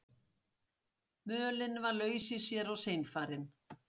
Mölin var laus í sér og seinfarin.